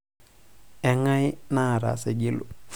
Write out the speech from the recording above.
enkae naata Saigilu